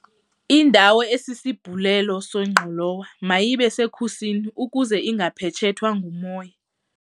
Indawo esisibhulelo sengqolowa mayibe sekhusini ukuze ingaphetshethwa ngumoya.